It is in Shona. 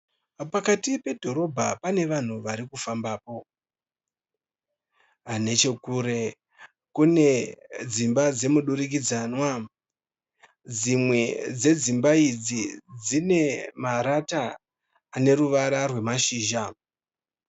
Pakati pedhorobha pane vanhu varikufambapo. Nechokure kune dzimba dzemudurikidzanwa. Dzimwe dzedzimba idzi dzine marata aneruvara rwemashizha.